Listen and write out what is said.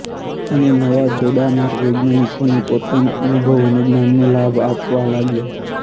અને નવા જોડાનાર વૈજ્ઞાનિકોને પોતાના અનુભવ અને જ્ઞાનનો લાભ આપવા લાગ્યા